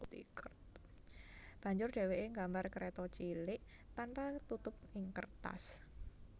Banjur dheweke ngambar kreta cilik tanpa tutup ing kertas